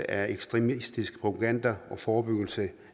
af ekstremistisk propaganda og forebyggelse